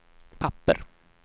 papper